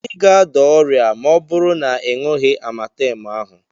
Ị ga-ada ọrịa ọ bụrụ na ị ṅughị Amatemu ahụ.